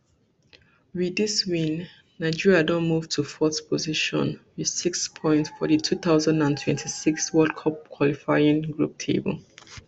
wit dis win nigeria don move to fourth position wit six points for di two thousand and twenty-six world cup qualifying group table